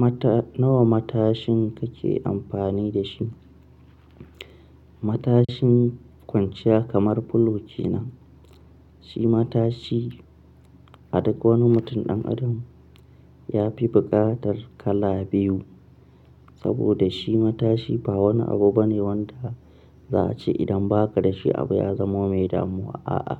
Mata nawa matashin kake amfani da shi? Matashin kwanciya kamar fulo ke nan shi matashi. A duk wani mutum ɗan adam ya fi buƙatar kala biyu, saboda shi matashi ba wani abu bane wanda za a ce idan ba ka da shi abu ya zama mai damuwa a'a.